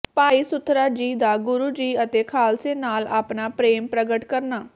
ਭਾਈ ਸੁਥਰਾ ਜੀ ਦਾ ਗੁਰੂ ਜੀ ਅਤੇ ਖਾਲਸੇ ਨਾਲ ਆਪਣਾ ਪ੍ਰੇਮ ਪ੍ਰਗਟ ਕਰਨਾ